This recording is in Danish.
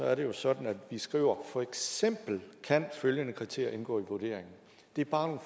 er det jo sådan at vi skriver for eksempel kan følgende kriterier indgå i vurderingen det er bare